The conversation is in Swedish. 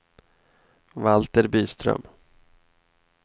Valter Byström